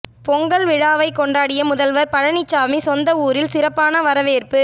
பொங்கல் விழாவை கொண்டாடிய முதலமைச்சர் பழனிசாமி சொந்த ஊரில் சிறப்பான வரவேற்பு